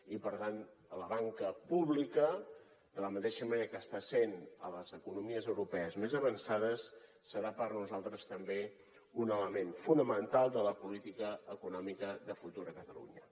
i per tant la banca pública de la mateixa manera que ho està sent a les economies europees més avançades serà per nosaltres també un element fonamental de la política econòmica de futur a catalunya